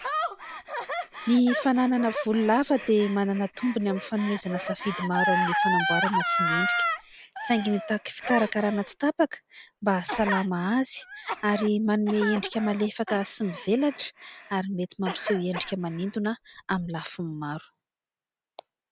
Ny fananana volo lava dia manana tombony amin'ny fanomezana safidy maro amin'ny fanamboarana sy ny endrika. Saingy mitaky fikarakarana tsy tapaka mba hahasalama azy, ary manome endrika malefaka sy mivelatra ary mety mampiseho endrika manintona amin'ny lafiny maro.